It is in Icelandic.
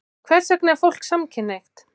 Hvers vegna er fólk samkynhneigt?